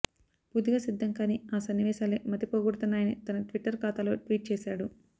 పూర్తిగా సిద్ధంకాని ఆ సన్నివేశాలే మతిపోగొడుతున్నాయని తన ట్విట్టర్ ఖాతాలో ట్వీట్ చేశాడు